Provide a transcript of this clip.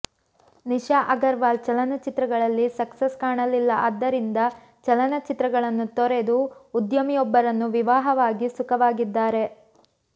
ನಿಶಾ ಅಗರ್ವಾಲ್ ಚಲನಚಿತ್ರಗಳಲ್ಲಿ ಸಕ್ಸಸ್ ಕಾಣಲಿಲ್ಲಆದ್ದರಿಂದ ಚಲನಚಿತ್ರಗಳನ್ನು ತೊರೆದು ಉದ್ಯಮಿಯೊಬ್ಬರನ್ನು ವಿವಾಹವಾಗಿ ಸುಖವಾಗಿದ್ದಾರೆ